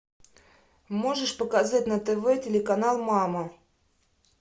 можешь показать на тв телеканал мама